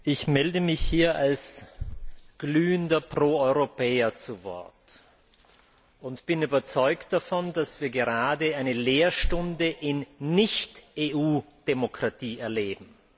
Herr Präsident! Ich melde mich hier als glühender Pro Europäer zu Wort und bin überzeugt davon, dass wir gerade eine Lehrstunde in Nicht EU Demokratie erleben.